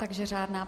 Takže řádná.